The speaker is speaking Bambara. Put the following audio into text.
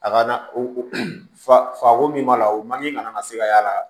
A ka na o fa fako min b'a la o man ɲi kana se ka y'a la